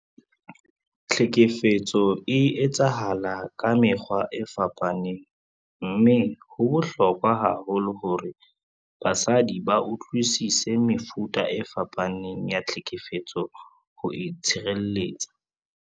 Tlhekefetso e etsahala ka mekgwa e fapaneng mme ho bohlokwa haholo hore basadi ba utlwisise mefuta e fapaneng ya tlhekefetso ho itshireletsa.